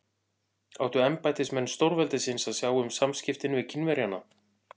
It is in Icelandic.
Áttu embættismenn stórveldisins að sjá um samskiptin við Kínverjana?